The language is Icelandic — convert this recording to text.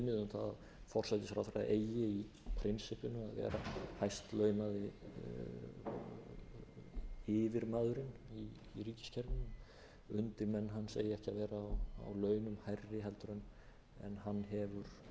forsætisráðherra eigi í prinsippinu að vera hæst launaði yfirmaðurinn í ríkiskerfinu undirmenn hans eigi ekki að vera á hærri launum hærri en hann hefur